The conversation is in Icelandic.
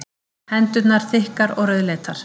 Hendurnar þykkar og rauðleitar.